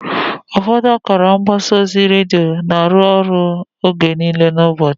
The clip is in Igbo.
Ụfọdụ akara mgbasa ozi redio na-arụ ọrụ oge niile n'ụbọchị.